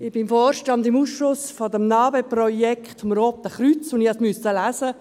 Ich bin im Vorstand, im Ausschuss des Roten Kreuzes zum NA-BE-Projekt, und ich musste es lesen;